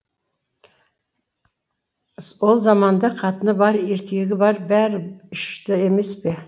ол заманда қатыны бар еркегі бар бәрі ішті емес пе